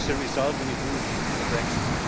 That is the result when you do a Brexit.